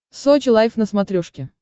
сочи лайф на смотрешке